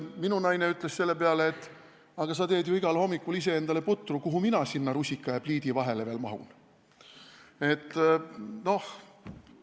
Minu naine ütles selle peale: "Aga sa teed ju igal hommikul iseendale putru, kuhu mina sinna rusika ja pliidi vahele veel mahun?